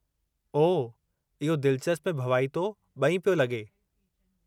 ओह, इहो दिलिचस्प ऐं भवाइतो बे॒ई पियो लगे॒।